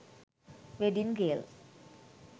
wedding gail